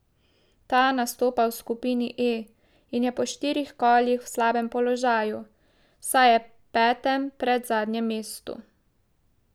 Ta nastopa v skupini E in je po štirih kolih v slabem položaju, saj je petem, predzadnjem mestu.